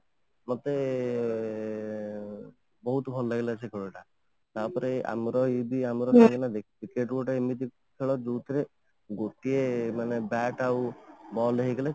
ମତେ ବହୁତ ଭଲ ଲାଗିଲା ଏଇ ଖେଳ ଟା ତାପରେ ଆମର ଏଇଠି ଆମର cricket ଗୋଟେ ଏମିତି ଖେଳ ଯୋଉଥିରେ ଗୋଟିଏ ମାନେ bat ଆଉ ball ହେଇଗଲେ